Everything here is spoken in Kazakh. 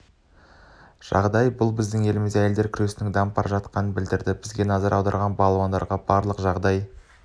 жағдай бұл біздің елімізде әйелдер күресінің дамып жатқандығын білдіреді бізге назар аударып балуандарға барлық жағдай